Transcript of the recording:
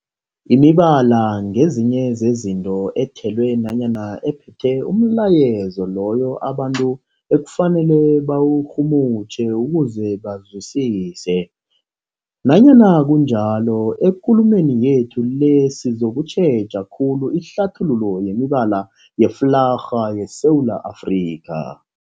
Imibala ngezinye zezinto ethelwe nanyana ephethe umlayezo loyo abantu ekufanele bawurhumutjhe ukuze bawuzwisise. Nanyana kunjalo, ekulumeni yethu le sizokutjheja khulu ihlathululo yemibala yeflarha yeSewula Afrika.